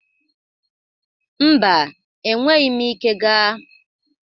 Mba, enweghi m ike gaa.